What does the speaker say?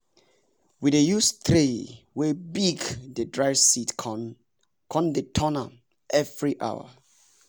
we dey use tray wey big dey dry seed con dey turn m every hours